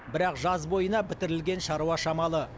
бірақ жаз бойына бітірілген шаруа шамалы